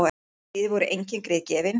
Í stríði voru engin grið gefin.